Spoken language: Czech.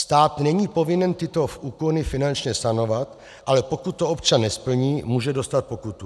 Stát není povinen tyto úkony finančně sanovat, ale pokud to občan nesplní, může dostat pokutu.